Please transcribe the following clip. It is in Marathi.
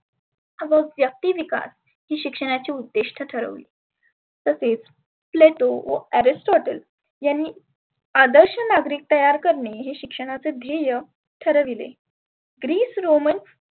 हा बघ व्यक्ती विकास ही शिक्षणाची उद्दीष्ठ ठरवली. तसेच pluto, aristoter यांनी आदर्श नागरीक तयार करणे हे शिक्षणाचे ध्येय ठरविले. Greece Roman